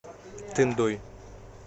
тындой